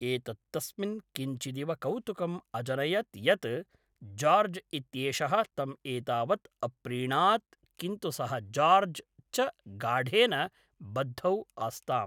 एतत् तस्मिन् किञ्चिदिव कौतुकम् अजनयत् यत् जार्ज् इत्येषः तम् एतावत् अप्रीणात्, किन्तु सः जार्ज् च गाढेन बद्धौ आस्ताम्।